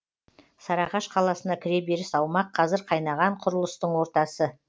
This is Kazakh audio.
сарыағаш қаласына кіреберіс аумақ қазір қайнаған құрылыстың ортасы